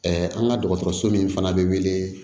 an ka dɔgɔtɔrɔso min fana be wele